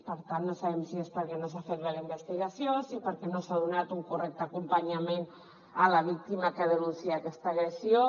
per tant no sabem si és perquè no s’ha fet bé la investigació si perquè no s’ha donat un correcte acompanyament a la víctima que denuncia aquesta agressió